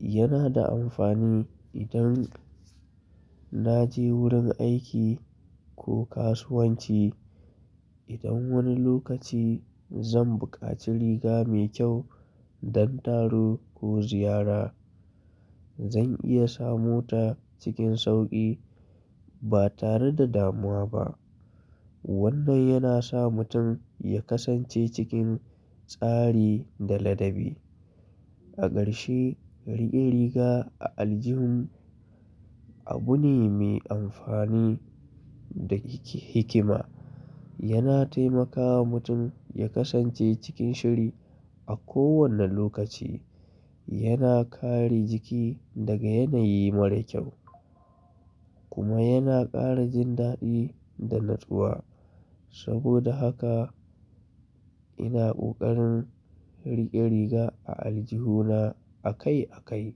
yana da amfani idan na je wurin aiki ko kasuwanci. Idan wani lokaci zan buƙaci riga mai kyau don taro ko ziyara zan iya samu ta cikin sauƙi ba tare da damuwa ba. Wannan yana sa mutum ya kasance cikin tsari da ladabi. A ƙarshe riƙe riga a aljihun abu ne mai amfani da hikima. Yana taimakawa mutum ya kasance cikin shiri a kowane lokaci. Yana kare jiki daga yanayi mara kyau kuma yana ƙara jin daɗi da natsuwa. Saboda haka ina ƙoƙarin riƙe riga a aljihuna a kai a kai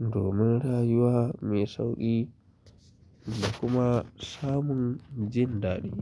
domin rayuwa mai sauƙi da kuma samun jin daɗi.